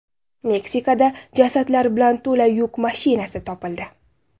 Meksikada jasadlar bilan to‘la yuk mashinasi topildi.